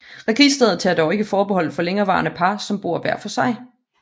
Registret tager dog ikke forbehold for længerevarende par som bor hver for sig